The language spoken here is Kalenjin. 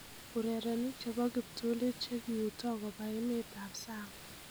Urerenik chebo kiptulit chekiuuta koba emet ab sang